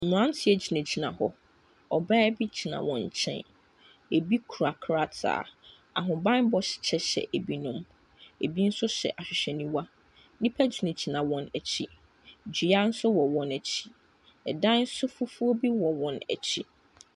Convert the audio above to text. Mmeranteɛ gyinagyina hɔ. Ɔbaa bi gyina wɔn nkyɛn. Ɛbi kura krataa. Ahobammɔ kyɛ hyɛ binom. Ɛbi nso hyɛ ahwehwɛniwa. Nnipa gyingyina wɔn akyi. Dua nso wɔ wɔn akyi. Ɛdan nso fufuo bi wɔ wɔn akyi.